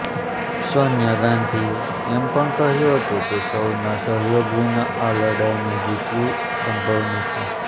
સોનિયા ગાંધીએ એમ પણ કહ્યું કે સૌના સહયોગ વિના આ લડાઇને જીતવી સંભવ નથી